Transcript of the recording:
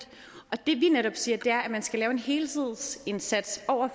og det vi netop siger er at man skal lave en helhedsindsats over